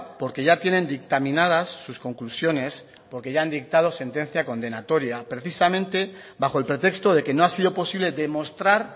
porque ya tienen dictaminadas sus conclusiones porque ya han dictado sentencia condenatoria precisamente bajo el pretexto de que no ha sido posible demostrar